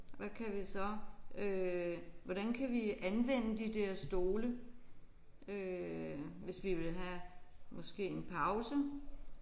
Hvad kan vi så øh hvordan kan vi anvende de der stole øh hvis vi vil have måske en pause